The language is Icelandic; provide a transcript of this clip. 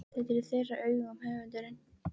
Þetta er í þeirra augum höfundurinn